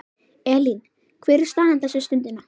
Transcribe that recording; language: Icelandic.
Elín, hver er staðan þessa stundina?